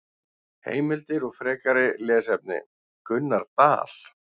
Heimildir og frekari lesefni: Gunnar Dal.